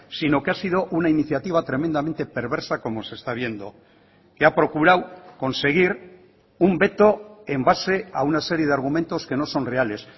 sino que ha sido una iniciativa tremendamente perversa como se está viendo que ha procurado conseguir un veto en base a una serie de argumentos que no son reales